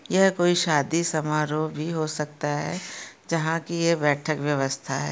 यह कोई शादी समारोह भी हो सकता है जहा की ये बैठक व्यवस्था है।